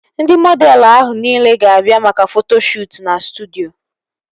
Ndị mọdelụ ahụ nile ga-abịa maka foto shuutu na studyo